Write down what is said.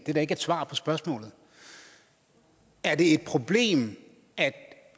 da ikke et svar på spørgsmålet er det et problem at